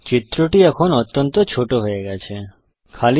চিত্রটি এখন অত্যন্ত ছোটোকমপ্যাক্ট হয়ে গেছে